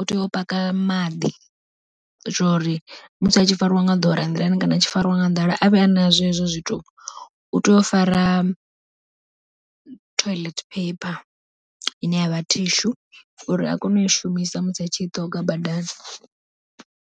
u tea u paka maḓi, zwori musi a tshi farwa nga dora nḓilani kana tshi fariwa nga nḓala a vhe ana zwo hezwo zwithu u tea u fara toilet paper, ine yavha tissue uri a kone u i shumisa musi a tshi i ṱonga badani.